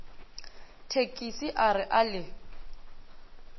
thekise a re a le